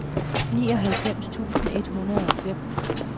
nioghalvfems tusind et hundrede og fem